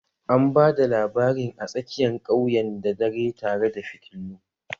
An ba da labarin a tsakiyan ƙauyen da dare tare da fitilu